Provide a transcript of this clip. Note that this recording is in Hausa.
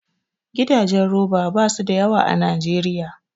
Gidajen roba basu da yawa a Najeriya